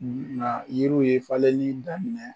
Nka yiriw ye falen ni daminɛ